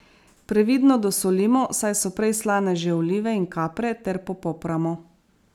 Previdno dosolimo, saj so prej slane že olive in kapre, ter popramo.